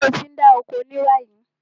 Ṣé o ti ń dá oko ni báyìí?